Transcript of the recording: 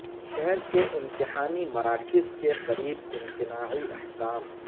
شہر کے امتحانی مراکز کے قریب امتناعی احکام